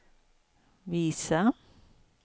visa